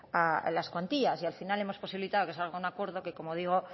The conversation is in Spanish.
a las cuantías y al final hemos posibilitado que salga un acuerdo que como digo